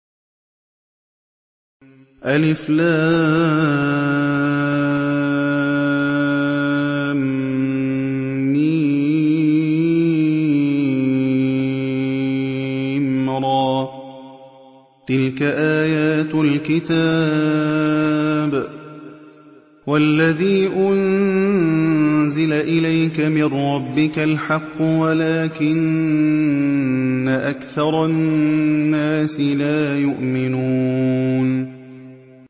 المر ۚ تِلْكَ آيَاتُ الْكِتَابِ ۗ وَالَّذِي أُنزِلَ إِلَيْكَ مِن رَّبِّكَ الْحَقُّ وَلَٰكِنَّ أَكْثَرَ النَّاسِ لَا يُؤْمِنُونَ